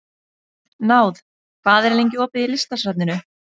Náð, hvað er lengi opið í Listasafninu?